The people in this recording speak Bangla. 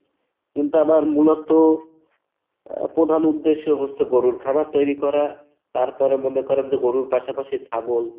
কিন্তু আমার মূলত আহ প্রধান উদ্দেশ্য হচ্ছে গরুর খামার তৈরী করা তারপরে মনে করেন যে গরুর পাশাপাশি ছাগল